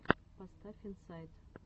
поставь инсайд